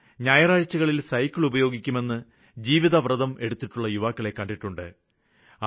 ഞായറാഴ്ചകളില് സൈക്കിളുപയോഗിക്കുമെന്ന് ജീവിതവ്രതം എടുത്തിട്ടുള്ള യുവാക്കളെ കണ്ടിട്ടുണ്ട്